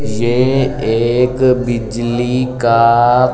ये एक बिजली का --